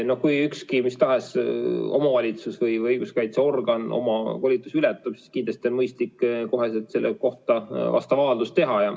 Kui üks mis tahes omavalitsus- või õiguskaitseorgan oma volitusi ületab, siis kindlasti on mõistlik kohe selle kohta vastav avaldus teha.